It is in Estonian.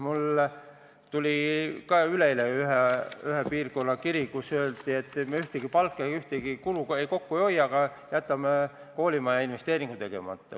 Mulle tuli üleeile ühest piirkonnast kiri, milles öeldi, et me kellegi palga ega ühegi kulu pealt kokku ei hoia, aga jätame koolimajainvesteeringu tegemata.